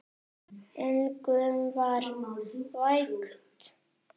Engum var vægt.